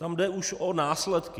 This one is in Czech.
Tam jde už o následky.